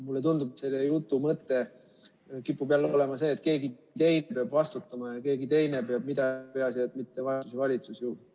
Mulle tundub, et selle jutu mõte kipub jälle olema see, et keegi teine peab vastutama ja keegi teine peab midagi tegema, peaasi, et mitte valitsusjuht.